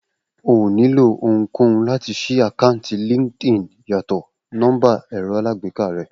O ò nílò ohunkóhun láti ṣí àkáǹtì LinkedIn yàtọ̀ nọ́mbà ẹ̀rọ alágbèéká rẹ